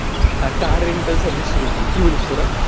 কার rental service শুরু করি, কি বলিস তোরা?